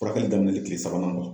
Furakɛli daminɛni kile sabanan kɔ.